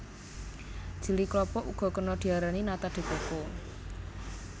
Jeli klapa uga kena diarani nata de coco